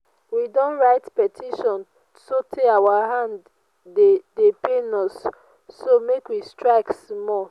we don write petition so tey our hand dey dey pain us so make we strike small